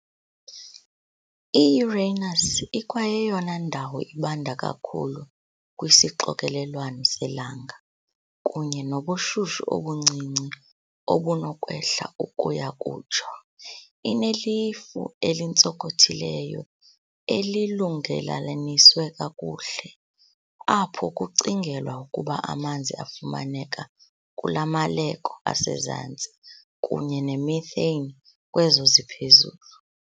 I-Uranus ikwayeyona ndawo ibanda kakhulu kwisixokelelwano selanga, kunye nobushushu obuncinci obunokwehla ukuya kutsho. Inelifu elintsonkothileyo, elilungelelalaniswe kakuhle, apho kucingelwa ukuba amanzi afumaneka kulamaleko asezantsi kunye nemethane kwezo ziphezulu.